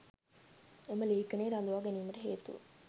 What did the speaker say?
එම ලේඛනයේ රඳවා ගැනීමට හේතුව